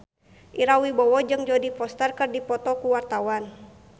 Ira Wibowo jeung Jodie Foster keur dipoto ku wartawan